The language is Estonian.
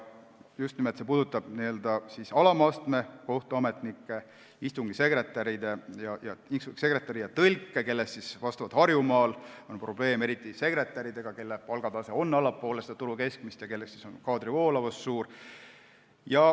See puudutab just nimelt alama astme kohtuametnikke, istungisekretäre ja tõlke, kellega Harjumaal on probleeme, eriti sekretäridega, kelle palgatase on allapoole turu keskmist ja kelle seas on kaadri voolavus suur.